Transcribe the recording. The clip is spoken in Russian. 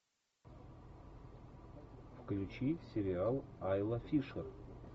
включи сериал айла фишер